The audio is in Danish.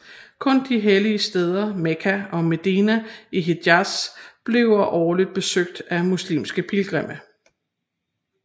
Kun de hellige steder Mekka og Medina i Hijaz bliver årligt besøgt af muslimske pilgrimme